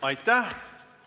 Aitäh!